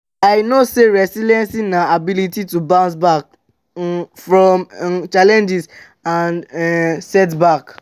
i know say resilience na ability to bounce back um from um challenges and um setbacks.